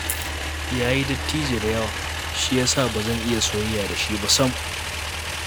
Ya yi dattijo da yawa, shi ya sa ba zan iya soyayya da shi ba sam